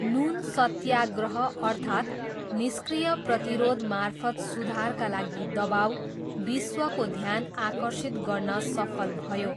नुन सत्याग्रह अर्थात् 'निष्क्रिय प्रतिरोधमार्फत सुधारका लागि दबाउ' विश्वको ध्यान आकर्षित गर्न सफल भयो।